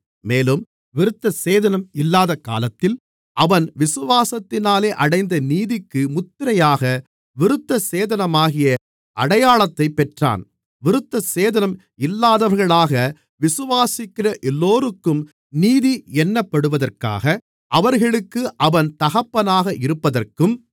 மேலும் விருத்தசேதனம் இல்லாத காலத்தில் அவன் விசுவாசத்தினாலே அடைந்த நீதிக்கு முத்திரையாக விருத்தசேதனமாகிய அடையாளத்தைப் பெற்றான் விருத்தசேதனம் இல்லாதவர்களாக விசுவாசிக்கிற எல்லோருக்கும் நீதி எண்ணப்படுவதற்காக அவர்களுக்கு அவன் தகப்பனாக இருப்பதற்கும்